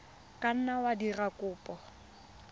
ka nna wa dira kopo